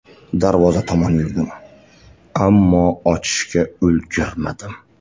Darvoza tomon yurdim, ammo ochishga ulgurmadim.